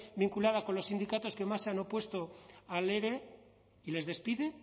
vinculada con los sindicatos que más se han opuesto al ere y les despide